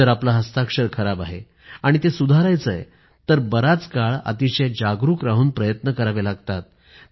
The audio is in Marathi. जर आपलं हस्ताक्षर खराब आहे आणि ते सुधारायचं आहे तर बराच काळ अतिशय जागरूक राहून प्रयत्न करावे लागतात